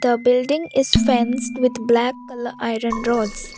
a building is fence with black colour iron rods.